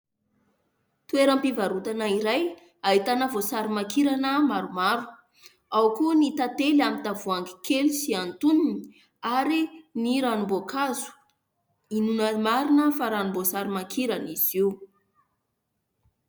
Toeram-pivarotana iray ahitana voasary makirana maromaro. Ao koa ny tantely amin'ny tavoahangy kely sy antonony ary ny ranom-boankazo. Inoana marina fa ranom-boasary makirana izy io.